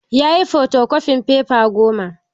Yayi fotokofin fefa goma